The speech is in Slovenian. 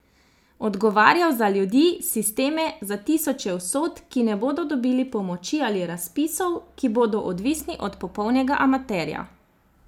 Odgovarjal za ljudi, sisteme, za tisoče usod, ki ne bodo dobili pomoči ali razpisov, ki bodo odvisni od popolnega amaterja.